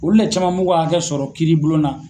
Olu le caman m'u ka hakɛ sɔrɔ kiiri bulon na.